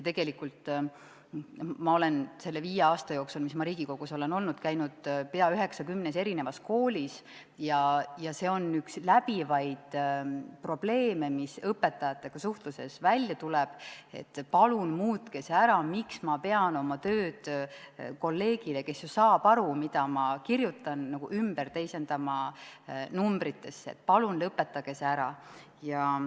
Ma olen selle viie aasta jooksul, mis ma Riigikogus olen olnud, käinud peaaegu 90 koolis ja see on üks läbivaid probleeme, mis õpetajatega suhtluses välja tuleb, et palun muutke see ära, miks ma pean kolleegile, kes ju saab aru, mida ma kirjutan, teisendama selle numbritesse, palun lõpetage see ära.